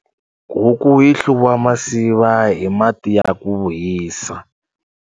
Huku yi hluviwa masiva hi mati ya ku hisa.